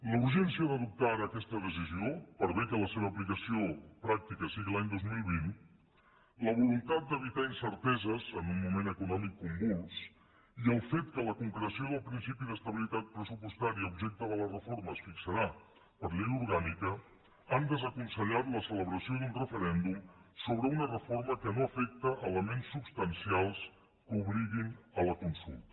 la urgència d’adoptar ara aquesta decisió per bé que la seva aplicació pràctica sigui l’any dos mil vint la voluntat d’evitar incerteses en un moment econòmic convuls i el fet que la concreció del principi d’estabilitat pressupostària objecte de la reforma es fixarà per llei orgànica han desaconsellat la celebració d’un referèndum sobre una reforma que no afecta elements substancials que obliguin a la consulta